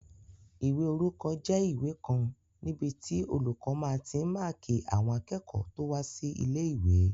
Ìwé orúkọ jẹ́ ìwé kan níbi tí olùkọ́ máa tí n máàkí àwọn akẹ́kọ̀ọ́ tó wá sí ilé-ìwé